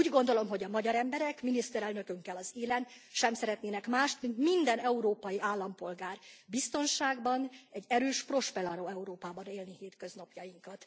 Pedig úgy gondolom, hogy a magyar emberek, miniszterelnökünkkel az élen sem szeretnének mást, mint minden európai állampolgár biztonságban, egy erős, prosperáló Európában élni hétköznapjainkat.